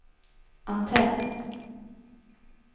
antenn